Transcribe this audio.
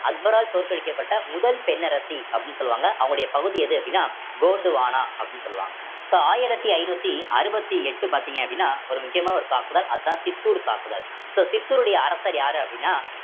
அக்பரால் தோற்கடிக்கப்பட்ட முதல் பெண் அரசி அப்படின்னு சொல்லுவாங்க அவங்களுடைய பகுதி எது அப்படின்னா கோந்துவானா அப்படின்னு சொல்லுவாங்க so ஆயிரத்தி ஐந்நூத்தி அறுபத்தி எட்டு பார்த்தீங்க அப்படின்னா ஒரு முக்கியமான ஒரு தாக்குதல் அதான் சித்தூர் தாக்குதல் so சித்தூருடைய அரசர் யாரு அப்படின்னா